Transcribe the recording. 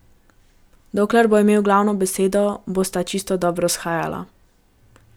Dokler bo imel glavno besedo, bosta čisto dobro shajala.